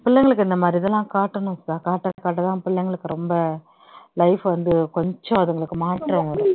பிள்ளைங்களுக்கு இந்த மாதிரி இதெல்ல்லாம் காட்டனும் சுதா காட்ட காட்டத்தான் பிள்ளைங்களுக்கு ரொம்ப life வந்து கொஞ்சம் அதுங்களுக்கு மாற்றம் வரும்